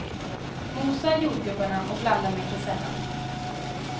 Mosa jordgubbarna och blanda med kesellan.